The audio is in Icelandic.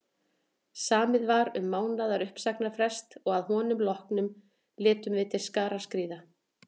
Samið var um mánaðar uppsagnarfrest og að honum loknum létum við til skarar skríða.